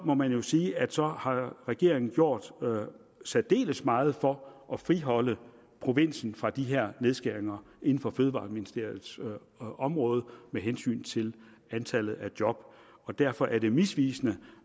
må man sige at så har regeringen gjort særdeles meget for at friholde provinsen fra de her nedskæringer på fødevareministeriets område med hensyn til antallet af job derfor er det misvisende